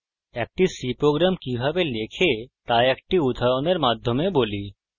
একটি c program কিভাবে লেখে তা একটি উদাহরণের মাধ্যমে বলি